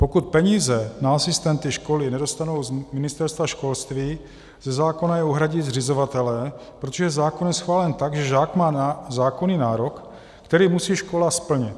Pokud peníze na asistenty školy nedostanou z Ministerstva školství, ze zákona je uhradí zřizovatelé, protože zákon je schválen tak, že žák má zákonný nárok, který musí škola splnit.